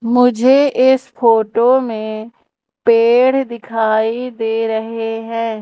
मुझे इस फोटो में पेड़ दिखाई दे रहे हैं।